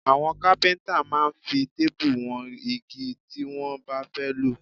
Àwọn kápíntà máa ń fi téèbù wọn igi tí wọ́n bá fẹ́ lò